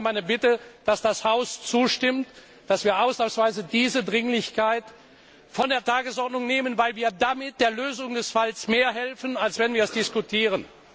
Deshalb wäre meine Bitte, dass das Haus zustimmt, dass wir ausnahmsweise diese Dringlichkeit von der Tagesordnung nehmen, weil wir damit der Lösung des Falls mehr helfen, als wenn wir ihn diskutieren.